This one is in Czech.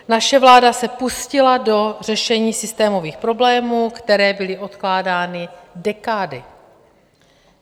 Naše vláda se pustila do řešení systémových problémů, které byly odkládány dekády.